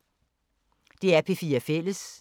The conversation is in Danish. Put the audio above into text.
DR P4 Fælles